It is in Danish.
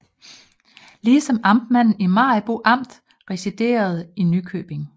Lige som amtmanden i Maribo Amt residerede i Nykøbing